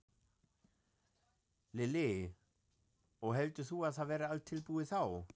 Lillý: Og heldur þú að það verði allt tilbúið þá?